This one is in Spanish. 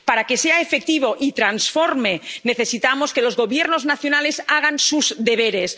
Para que sea efectivo y transforme, necesitamos que los Gobiernos nacionales hagan sus deberes.